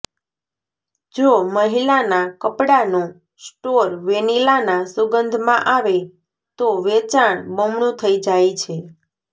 જો મહિલાનાં કપડાંનો સ્ટોર વેનીલાના સુંગધમાં આવે તો વેચાણ બમણું થઈ જાય છે